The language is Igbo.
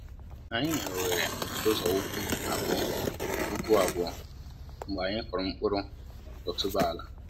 Anyị nyèrè oghere ụzọ ụkwụ abụọ ụkwụ abụọ mgbe anyị kụrụ mkpụrụ otuboala